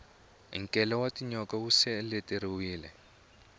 nkele wa tinyoka wu seleteriwile